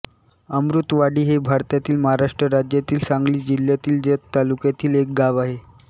अमृतवाडी हे भारतातील महाराष्ट्र राज्यातील सांगली जिल्ह्यातील जत तालुक्यातील एक गाव आहे